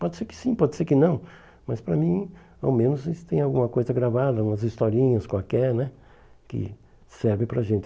Pode ser que sim, pode ser que não, mas para mim, ao menos, esse tem alguma coisa gravada, umas historinhas qualquer né, que servem para a gente.